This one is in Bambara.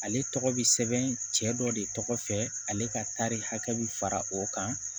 Ale tɔgɔ bɛ sɛbɛn cɛ dɔ de tɔgɔ fɛ ale ka tari hakɛ bɛ fara o kan